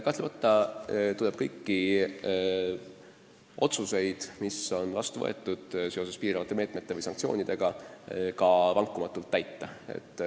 Kahtlemata tuleb kõiki otsuseid, mis on vastu võetud piiravate meetmete ehk sanktsioonide kohta, ka vankumatult täita.